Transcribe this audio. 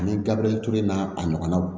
Ani gabiriyɛri ture n'a ɲɔgɔnnaw